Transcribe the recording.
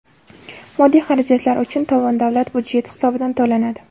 Moddiy xarajatlar uchun tovon davlat byudjeti hisobidan to‘lanadi.